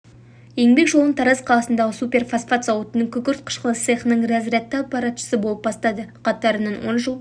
еңбек жолын тараз қаласындағы суперфосфат зауытының күкірт қышқылы цехының разрядты аппаратшысы болып бастады қатарынан он жыл